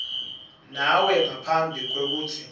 nawe ngaphambi kwekutsi